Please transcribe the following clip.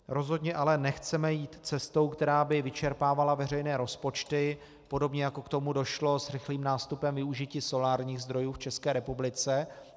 Rozhodně ale nechceme jít cestou, která by vyčerpávala veřejné rozpočty, podobně jako k tomu došlo s rychlým nástupem využití solárních zdrojů v České republice.